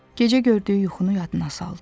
Gecə gördüyü yuxunu yadına saldı.